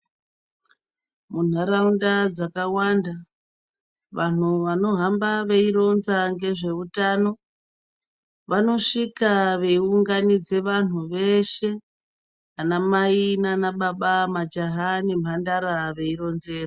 Muntaraunda dzakawanda vantu vanohamba veironza ngezveutano vanosvika veiunganidze vantu veshe ana mai nana baba, majaha nemhandara veironzera.